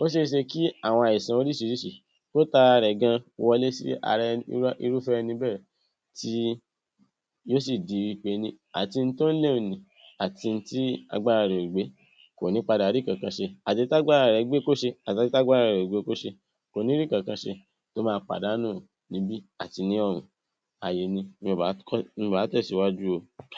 ó se é se kí àwọn àìsàn oríṣiríṣi kó tara rẹ̀ gan wọlé sí ara ẹni, irúfẹ́ ẹni bẹ́ẹ̀ tí yóò sì di wí pení ati un tó ń lé un nì, àti un tí agbára rẹ̀ ò gbé, kò í padà rí ǹkankan ṣe. Àti èyí tágbára rẹ̀ gbé kó ṣe, àtèyí tágbára rẹ̀ ò gbé kó ṣe, kò ní kankan ṣe, tó máa pàdánù níbí àti ní ọ̀hún. Ààyè ni mi ò bá tẹ̀síwáju o.